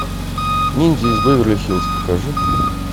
ниндзя из беверли хилз покажи